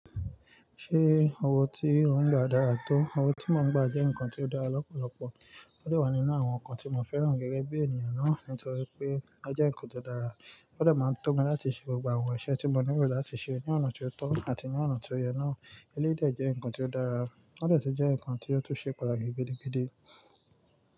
Ṣé owó tí ò ń gba dára tó? Owó tí mo ń gbà jẹ́ nǹkan tí ó dára lọ́pọ̀lọpọ̀. Ó de wà nínú àwọn nǹkan tí mo fẹ́ràn gẹ́gẹ́ bí ènìyàn náà nítorí pé ó jẹ́ nǹkan tó dára. Ó de máa ń run to mi láti ṣe gbogbo aẹwọn, iṣẹ́ tí mo ní ìrò láti ṣe ní ọ̀nà tó tọ́ àti ní ọ̀nà tó yẹ náà. Eléyìí de jẹ́ nǹkan tí ó dára, ó de tun jẹ́ nǹkan tí ó tún ṣe pàtàkì gidi gígí.